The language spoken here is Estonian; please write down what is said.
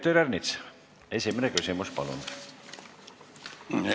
Peeter Ernits, esimene küsimus, palun!